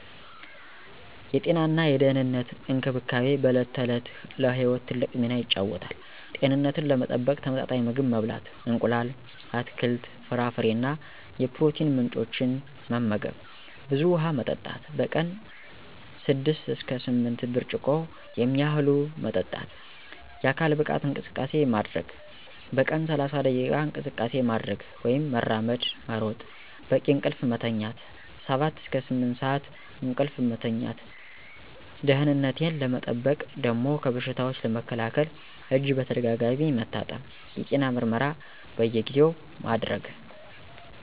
የጤናና የደህንነት እንክብካቤ በዕለት ተዕለት ለሕይወት ትልቅ ሚና ይጫወታል። ጤንነቴን ለመጠበቅ ተመጣጣኝ ምግብ መብላት: እንቁላል፣ አትክልት፣ ፍራፍሬ እና የፕሮቲን ምንጮች መመገብ፣ ብዙ ውሃ መጠጣት: በቀን 6–8 ብርጭቆ የሚያህሉ መጠጣት፣ የአካል ብቃት እንቅስቃሴ ማድረግ: በቀን 30 ደቂቃ እንቅስቃሴ ማድረግ (መራመድ፣ መሮጥ) ፣ በቂ እንቅልፍ መተኛት 7–8 ሰዓት እንቅልፍ መተኛት። ደህነቴን ለመጠበቅ ደሞ ከበሽታዎች ለመከላከል እጅ በተደጋጋሚ መታጠብ፣ የጤና ምርመራ በየጊዜው ማድረግ።